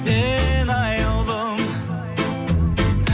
мен аяулым